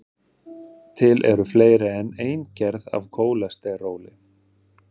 til eru fleiri en ein gerð af kólesteróli